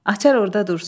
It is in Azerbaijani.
Açar orda dursun.